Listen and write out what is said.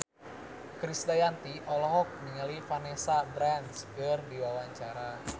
Krisdayanti olohok ningali Vanessa Branch keur diwawancara